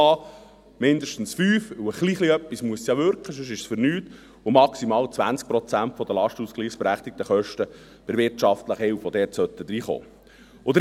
Mindestens 5 Prozent, denn ein kleines bisschen muss es ja wirken, sonst ist es für nix, und maximal 20 Prozent der lastenausgleichsberechtigten Kosten bei der wirtschaftlichen Hilfe, die dort reinkommen sollten.